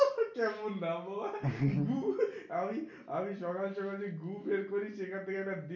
কেমন নাম বাবা আমি আমি সকাল সকাল যে গু বের করি সেখান থেকে একটা